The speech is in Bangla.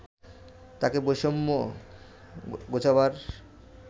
তাকে বৈষম্য ঘোচাবার